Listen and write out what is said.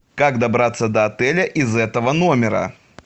как добраться до отеля из этого номера